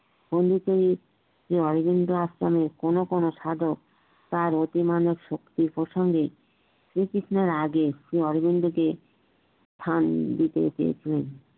অন্যতম শ্রী অরবিন্দ দাস কে নিয়ে কোন কোন সাধক তার অতিমানব শক্তির প্রসঙ্গে শ্রীকৃঞ্চের আগে তিনি সেই অরবিন্দকে ফান দিতে চেয়েছিলেন